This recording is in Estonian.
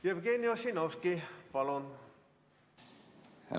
Jevgeni Ossinovski, palun!